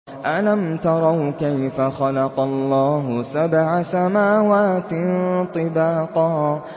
أَلَمْ تَرَوْا كَيْفَ خَلَقَ اللَّهُ سَبْعَ سَمَاوَاتٍ طِبَاقًا